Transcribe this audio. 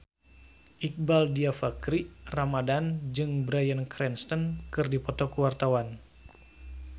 Iqbaal Dhiafakhri Ramadhan jeung Bryan Cranston keur dipoto ku wartawan